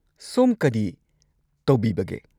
ꯁꯣꯝ ꯀꯔꯤ ꯇꯧꯕꯤꯕꯒꯦ?